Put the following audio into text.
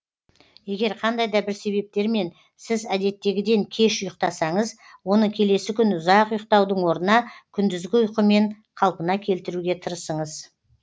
егер қандай да бір себептермен сіз әдеттегіден кеш ұйықтасаңыз оны келесі күні ұзақ ұйықтаудың орнына күндізгі ұйқымен қалпына келтіруге тырысыңыз